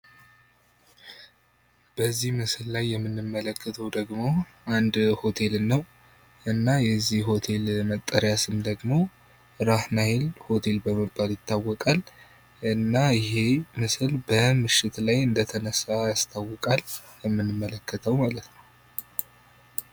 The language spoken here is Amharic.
በዚህ ምስል ላይ የምንመለከተው ደግሞ አንድ ሆቴልን ነው። እና የዚህ ሆቴል መጠሪያ ስም ደግሞ ራህ ናይል በመባል ይታወቃል። እና ይህ ምስል በምሽት ላይ እንደተነሳ ያስታውቃል የምንመለከተው ማለት ነው።